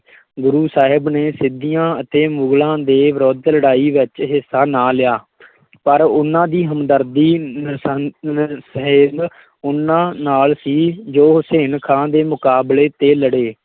ਗੁਰੂ ਸਾਹਿਬ ਨੇ ਸਿੰਧੀਆਂ ਅਤੇ ਮੁਗਲਾਂ ਦੇ ਵਿਰੁੱਧ ਲੜਾਈ ਵਿੱਚ ਹਿੱਸਾ ਨਾ ਲਿਆ ਪਰ ਉਹਨਾਂ ਦੀ ਹਮਦਰਦੀ ਉਹਨਾਂ ਨਾਲ ਸੀ ਜੋ ਹੁਸੈਨ ਖਾਂ ਦੇ ਮੁਕਾਬਲੇ ਤੇ ਲੜੇ।